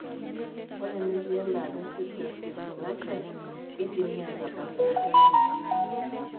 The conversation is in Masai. Ore metii embaata eFibrous dysplasia, keidimi aatabak inaapuku.